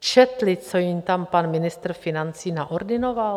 Četli, co jim tam pan ministr financí naordinoval?